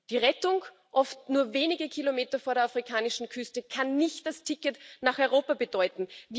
Die Rettung, oft nur wenige Kilometer vor der afrikanischen Küste, kann nicht das Ticket nach Europa bedeuten.